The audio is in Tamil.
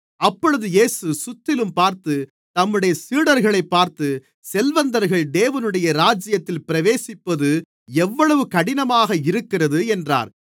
அப்பொழுது இயேசு சுற்றிலும்பார்த்து தம்முடைய சீடர்களைப் பார்த்து செல்வந்தர்கள் தேவனுடைய ராஜ்யத்தில் பிரவேசிப்பது எவ்வளவு கடினமாக இருக்கிறது என்றார்